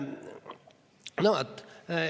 No vaat.